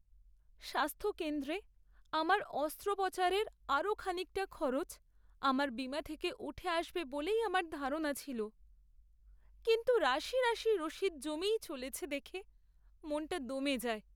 স্বাস্থ্যকেন্দ্রে আমার অস্ত্রোপচারের আরও খানিকটা খরচ আমার বীমা থেকে উঠে আসবে বলেই আমার ধারণা ছিল। কিন্তু রাশি রাশি রসিদ জমেই চলেছে দেখে মনটা দমে যায়।